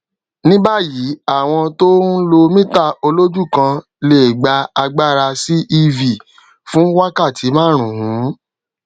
níbáyìíàwọn tó ń lo mítà olójú kan lè gba agbára sí ev fún wákàtí márùnún